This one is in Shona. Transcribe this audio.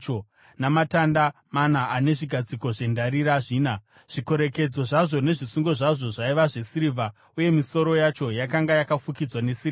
namatanda mana uye nezvigadziko zvendarira zvina. Zvikorekedzo zvazvo nezvisungo zvazvo zvaiva zvesirivha, uye misoro yacho yakanga yakafukidzwa nesirivha.